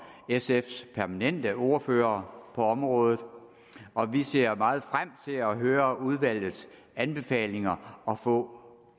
sfs permanente ordfører på området og vi ser meget frem til at høre udvalgets anbefalinger og få